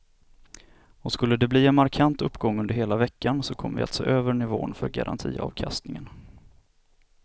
Och skulle de bli en markant uppgång under hela veckan så kommer vi att se över nivån för garantiavkastningen.